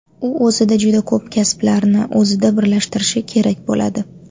U o‘zida juda ko‘p kasblarni o‘zida birlashtirishi kerak bo‘ladi.